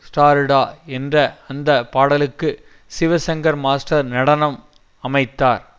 ஸ்டாருடா என்ற அந்த பாடலுக்கு சிவசங்கர் மாஸ்டர் நடனம் அமைத்தார்